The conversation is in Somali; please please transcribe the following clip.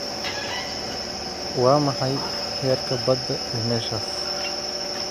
waa maxay heerka badda ee meeshaas